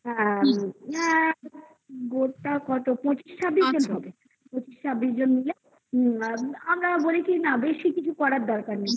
গোটা কত পঁচিশ ছাব্বিশ হবে ছাব্বিশ জন মিলে হুম আর আমরা বলি কি না বেশি কিছু করার দরকার নেই